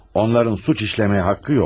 Onların cinayət etməyə haqqı yoxdur.